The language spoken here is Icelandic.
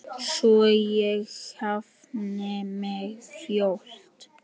Bliki: tímarit um fugla.